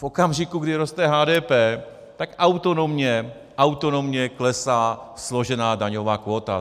V okamžiku, kdy roste HDP, tak autonomně, autonomně klesá složená daňová kvóta.